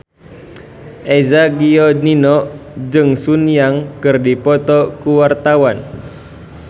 Eza Gionino jeung Sun Yang keur dipoto ku wartawan